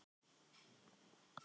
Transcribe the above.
Hofsnesi